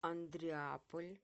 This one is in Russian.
андреаполь